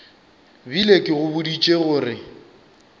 bile ke go boditše gore